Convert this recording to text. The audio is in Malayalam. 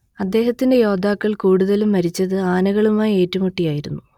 അദ്ദേഹത്തിന്റെ യോദ്ധാക്കൾ കൂടുതലും മരിച്ചത് ആനകളുമായി ഏറ്റുമുട്ടിയായിരുന്നു